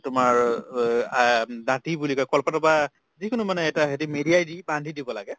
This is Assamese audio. তোমাৰ অ আহ দাঠি বুলি কয় কলপাতৰ বা যিকোনো মানে এটা হেৰি মেৰিয়াই দি বান্ধি দিব লাগে।